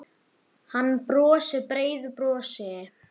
Hann brosir breiðu brosi.